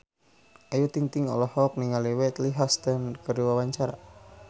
Ayu Ting-ting olohok ningali Whitney Houston keur diwawancara